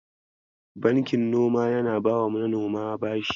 Bankin noma yana bawa manoma bashi.